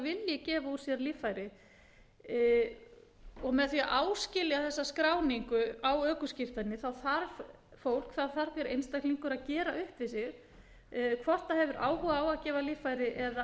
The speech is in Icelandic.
vilji gefa úr sér líffæri með því að áskilja þessa skráningu á ökuskírteini þarf fólk þá þarf hver einstaklingur að gera upp við sig hvort hann hefur áhuga á að gefa líffæri eða